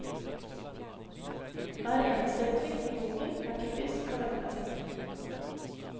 Hver eneste replikk i boken er typisk og velplasert.